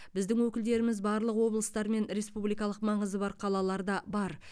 біздің өкілдеріміз барлық облыстар мен республикалық маңызы бар қалаларда бар